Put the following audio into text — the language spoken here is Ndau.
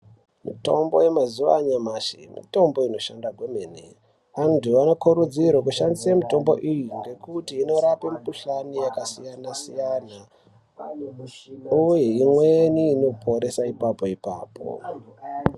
Mitombo yemazuwa anyamashi mitombo inoshanda kwemene . Antu anokurudzirwa kushandisa mitombo iyi ngekuti inorape mukuhlani yakasiyana siyana uye imweni inoporesa ipapo ipapo.